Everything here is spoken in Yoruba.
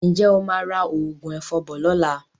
Ǹjẹ́ o máa ra òògùn ẹ̀fọn bọ̀ lọ́la?